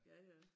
Ja ja